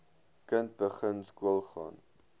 kind begin skoolgaan